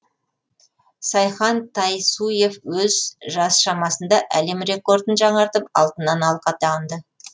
сайхан тайсуев өз жас шамасында әлем рекордын жаңартып алтыннан алқа тағынды